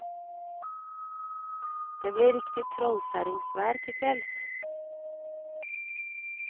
Det blir riktig trollkjerringvær til kvelds.